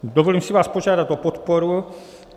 Dovolím si vás požádat o podporu.